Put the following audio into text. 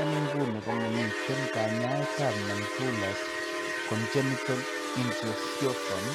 En inguni komamiiten kanyaayetab nonbullous congenital ichthyosiform